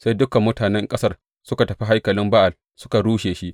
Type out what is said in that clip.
Sai dukan mutanen ƙasar suka tafi haikalin Ba’al suka rushe shi.